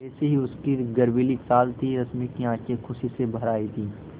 वैसी ही उसकी गर्वीली चाल थी रश्मि की आँखें खुशी से भर आई थीं